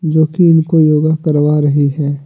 जो कि इनको योगा करवा रही है।